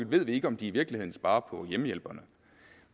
ved vi ikke om de i virkeligheden sparer på hjemmehjælperne